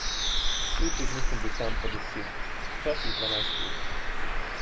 Tri tedne sem bil tam po deset, včasih dvanajst ur.